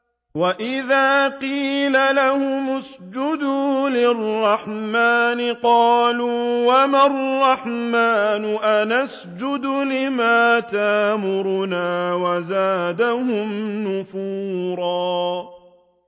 وَإِذَا قِيلَ لَهُمُ اسْجُدُوا لِلرَّحْمَٰنِ قَالُوا وَمَا الرَّحْمَٰنُ أَنَسْجُدُ لِمَا تَأْمُرُنَا وَزَادَهُمْ نُفُورًا ۩